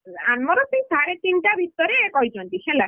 ଆମର ସେଇ ସାଢେ ତିନିଟା ଭିତରେ କହିଛନ୍ତି ହେଲା,